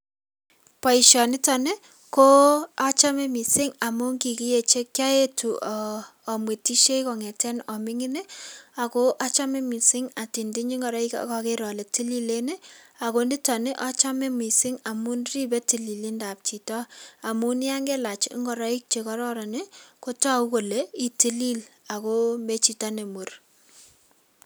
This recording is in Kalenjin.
Boisionitoni ko achame mising amun kikiechek um kaetu amwetisie kong'ete aming'in, ako achame mising atinydinyi ngoroik akagere ale tililen ako nitoni achame mising amun ribe tililibdetab chito amun yan ngelach ngoroik che kararan ko toku kole ii tilil aku me chito ne mur.